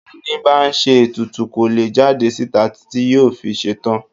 Ẹni bá ń ṣe ètùtù kò lè jáde síta títí yóò fi ṣetán.